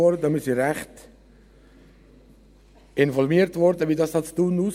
Wir wurden recht … informiert, wie es in Thun aussieht.